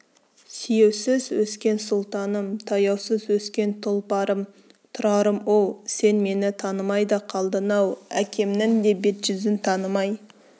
сүйеусіз өскен сұлтаным таяусыз өскен тұлпарым тұрарым-оу сен мені танымай да қалдың-ау әкемнің де бет-жүзін танымай